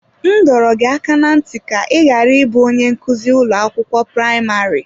M dọrọ gị aka ná ntị ka ị ghara ịbụ onye nkụzi ụlọ akwụkwọ praịmarị!